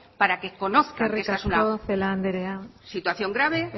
para que conozca eskerrik asko celaá andrea la situación grave